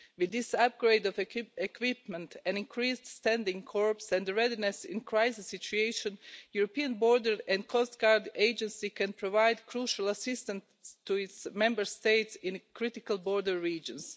With this upgrade of equipment, an increased standing corps and readiness in a crisis situation, the European Border and Coast Guard Agency can provide crucial assistance to its Member States in critical border regions.